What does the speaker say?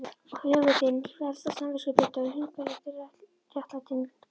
Og hugur þinn kvelst af samviskubiti og hungrar í réttlætingu.